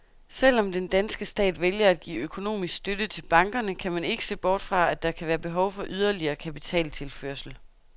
Selvom den danske stat vælger at give økonomisk støtte til bankerne, kan man ikke se bort fra, at der kan være behov for yderligere kapitaltilførsel.